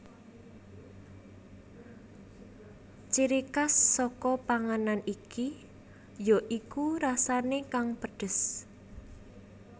Ciri khas saka panganan iki ya iku rasane kang pedhes